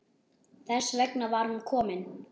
Þess vegna var hún komin.